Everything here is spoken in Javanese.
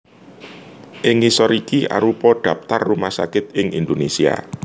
Ing ngisor iki arupa dhaptar rumah sakit ing Indonésia